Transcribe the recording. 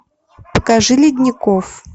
покажи ледников